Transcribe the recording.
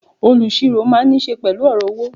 Olusiro máa ń nise pẹ̀lú ọ̀rọ̀ owó.